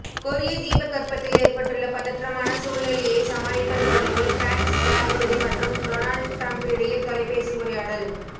கொரிய தீபகற்பத்தில் ஏற்பட்டுள்ள பதற்றமான சூழ்நிலையை சமாளிப்பது தொடர்பில் பிரான்ஸ் ஜனாதிபதி மற்றும் டொனால்ட் ட்ரம்ப் இடையில் தொலைபேசி உரையாடல்